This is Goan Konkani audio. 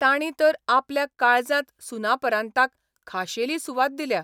तांणी तर आपल्या काळजांत सुनापरान्ताक खाशेली सुवात दिल्या.